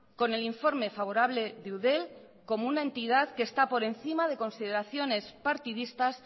con el informe favorable de eudel como una entidad que está por encima de consideraciones partidistas